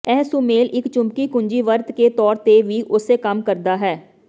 ਇਹ ਸੁਮੇਲ ਇੱਕ ਚੁੰਬਕੀ ਕੁੰਜੀ ਵਰਤ ਕੇ ਤੌਰ ਤੇ ਵੀ ਉਸੇ ਕੰਮ ਕਰਦਾ ਹੈ